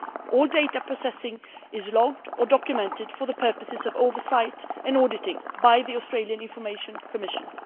All data processing is logged or documented for the purposes of oversight and auditing by the Australian Information Commission.